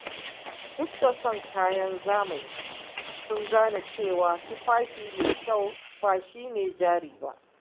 Duk da son kayan zamani, sun gane cewa saka tufafi mai kyau ba shi ne jari ba.